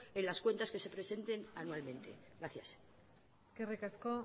en las cuentas que se presenten anualmente gracias eskerrik asko